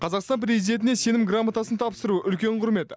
қазақстан президентіне сенім грамотасын тапсыру үлкен құрмет